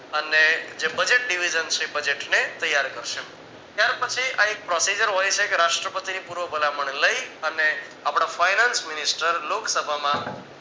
અને જે budget Dividend Budget ને ત્યાર કરીશે ત્યાર પછી આ એક procedure હોય છે એક રાષ્ટ્રપતિ ની પૂર્વ ભલામણ લઈ અને આપણા finance minister લોકસભામાં અને